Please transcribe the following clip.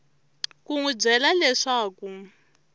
ku n wi byela leswaku